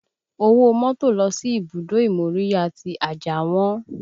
Owó mọ́tò lọ sí ibùdó ìmóríyá tí Ajah wọ́n